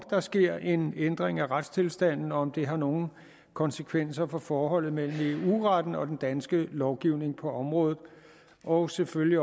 der sker en ændring af retstilstanden og om det har nogle konsekvenser for forholdet mellem eu retten og den danske lovgivning på området og selvfølgelig